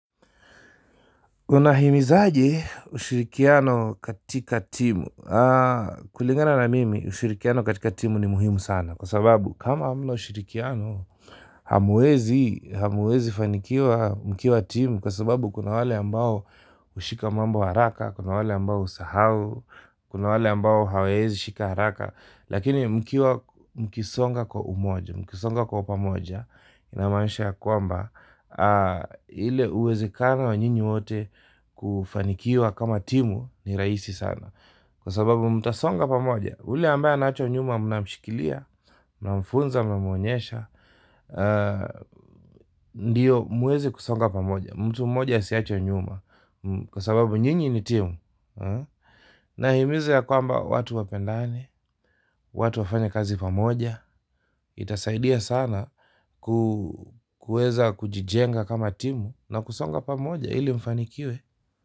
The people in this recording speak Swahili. Unahimizaje ushirikiano katika timu? Kulingana na mimi ushirikiano katika timu ni muhimu sana kwa sababu kama hamna ushirikiano mamwezi fanikiwa mkiwa timu kwa sababu kuna wale ambao hushika mambo haraka, kuna wale ambao husahau, kuna wale ambao hawawezi shika haraka. Lakini mkiwa mkisonga kwa umoja, mkisonga kwa pamoja. Namaanisha ya kwamba, ile uwezekano wa nyinyi wote kufanikiwa kama timu ni rahisi sana. Kwa sababu mtasonga pamoja, yule ambaye anaachwa nyuma mnamshikilia, mnamfunza, mnamwonyesha. Ndiyo mweze kusonga pamoja, mtu mmoja asiachwe nyuma kwa sababu nyinyi ni timu. Nahimiza ya kwamba watu wapendane, watu wafanye kazi pamoja. Itasaidia sana kuweza kujijenga kama timu na kusonga pamoja ili mfanikiwe.